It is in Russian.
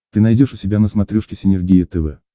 ты найдешь у себя на смотрешке синергия тв